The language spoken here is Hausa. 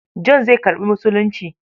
John zai karɓi Musulunci.